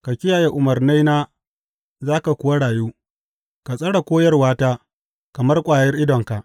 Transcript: Ka kiyaye umarnaina za ka kuwa rayu; ka tsare koyarwata kamar ƙwayar idonka.